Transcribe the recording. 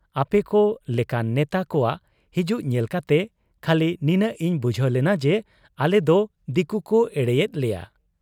ᱟᱯᱮᱠᱚ ᱞᱮᱠᱟᱱ ᱱᱮᱛᱟ ᱠᱚᱣᱟᱜ ᱦᱤᱡᱩᱜ ᱧᱮᱞ ᱠᱟᱛᱮ ᱠᱷᱟᱹᱞᱤ ᱱᱤᱱᱟᱹᱜ ᱤᱧ ᱵᱩᱡᱷᱟᱹᱣ ᱞᱮᱱᱟ ᱡᱮ ᱟᱞᱮᱫᱚ ᱫᱤᱠᱩᱠᱩ ᱮᱲᱮᱭᱮᱫ ᱞᱮᱭᱟ ᱾